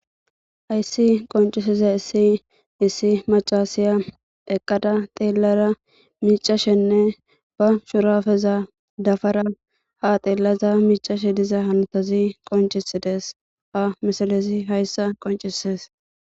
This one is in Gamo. Hayssi qonccisizayssi issi macashiya eqqada xellada miiccashenne ba shuurabeza dafara ha xellashe miiccashe diza hannotazii qonccisides ha misilezi hayssa qoncises